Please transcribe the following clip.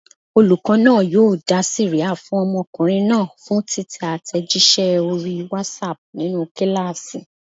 Olùkọ́ náà yóò dá sẹ̀ríà fún ọmọkùnrin náà fún títẹ àtẹ̀jíṣẹ́ orí WhatsApp nínú kíláàsì.